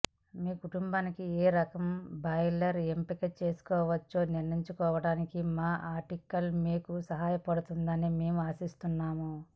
మీ కుటుంబానికి ఏ రకం బాయిలర్ ఎంపిక చేసుకోవచ్చో నిర్ణయించుకోవటానికి మా ఆర్టికల్ మీకు సహాయం చేస్తుందని మేము ఆశిస్తున్నాము